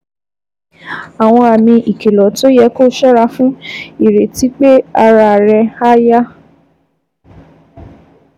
Àwọn àmì ìkìlọ̀ tó yẹ kó o ṣọ́ra fún: Ìrètí pé ara rẹ̀ á yá